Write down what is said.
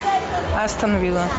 астон вилла